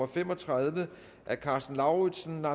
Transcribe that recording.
fem og tredive af karsten lauritzen